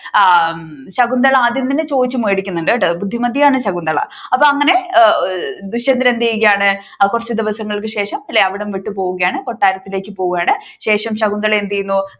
ശകുന്തള ആദ്യം തന്നെ ചോദിച്ചു മേടിക്കുന്നുണ്ട് ബുദ്ധിമതിയാണ് ശകുന്തള അപ്പൊ അങ്ങനെ ദുഷ്യന്തൻ എന്ത് ചെയ്യുകയാണ് കുറച്ചു ദിവസങ്ങൾക്ക് ശേഷം അവിടം വിട്ടു പോവുകയാണ് കൊട്ടാരത്തിലേക്കു പോവുകയാണ് ശേഷം ശകുന്തള എന്ത് ചെയ്യുന്നു